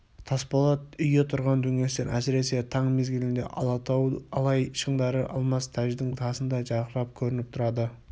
тасболат үйі тұрған дөңестен әсіресе таң мезгілінде алатау алай шыңдары алмас тәждің тасындай жарқырап көрініп тұрады